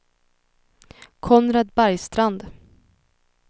Konrad Bergstrand